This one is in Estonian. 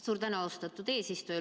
Suur tänu, austatud eesistuja!